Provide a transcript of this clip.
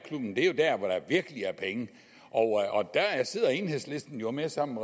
virkelig er penge og der sidder enhedslisten jo med sammen